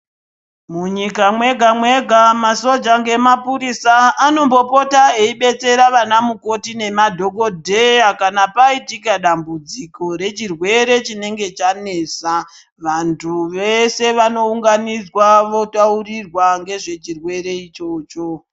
Munyika mwega mwega masoja ngemapirisa anombopota eidetsera anamukoti nemadhokodheya kana paitika dambudziko rechirwere chinenge chanesa. Vantu veshe vanounganidzwa votaurirwa ngezve chirwere ichocho.